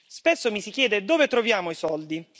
Spesso mi si chiede dove troviamo i soldi?